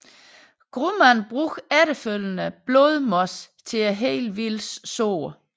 Grumman bruger efterfølgende blodmos til at hele Wills sår